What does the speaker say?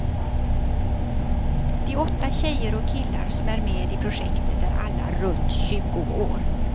De åtta tjejer och killar som är med i projektet är alla runt tjugo år.